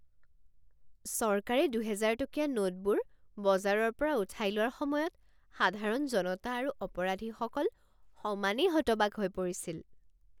চৰকাৰে দুহেজাৰ টকীয়া নোটবোৰ বজাৰৰ পৰা উঠাই লোৱাৰ সময়ত সাধাৰণ জনতা আৰু অপৰাধীসকল সমানেই হতবাক হৈ পৰিছিল।